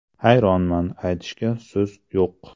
Hayronman, aytishga so‘z yo‘q.